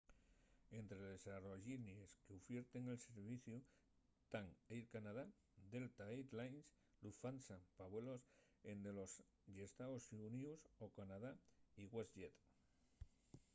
ente les aerollinies qu'ufierten el serviciu tán air canada delta air lines lufthansa pa vuelos dende los ee.xx. o canadá y westjet